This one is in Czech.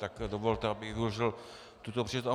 Tak dovolte, abych využil tuto příležitost.